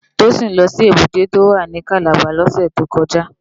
Toyin lò si ébùté tó wá ni Kàlábá lòsè tó kòjá